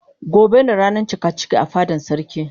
Gobe ne ranan cikaciki a fadan sarki.